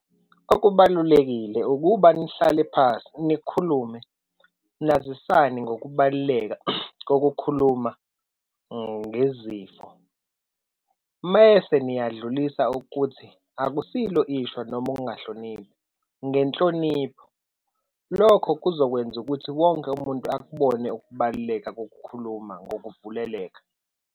Okubalulekile ukuba nihlale phasi nikhulume, nazisane ngokubaluleka kokukhuluma ngezifo, mese niyadlulisa ukuthi akusilo ishwa noma ukungahloniphi, ngenhlonipho. Lokho kuzokwenza ukuthi wonke umuntu akubone ukubaluleka kokukhuluma ngokuvuleleka.